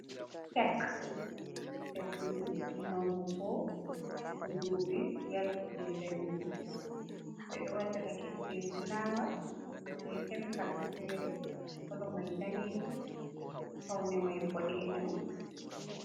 Kek ɓedduki manngu ,ko to duuɓi yalti jey danyugo. Ɓe ɗo waɗira kek be fulaawa ,jey kemikal feeri ,kolo may daneejum, fawne may boɗeejum.